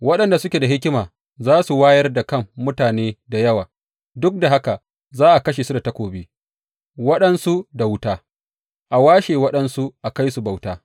Waɗanda suke da hikima za su wayar da kan mutane da yawa, duk da haka za a kashe su da takobi, waɗansu da wuta, a washe waɗansu a kai su bauta.